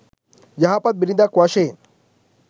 යහපත් බිරිඳක් වශයෙන්